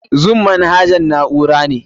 Zoom manahajan na'ura ne.